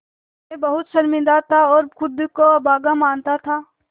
मैं बहुत शर्मिंदा था और ख़ुद को अभागा मानता था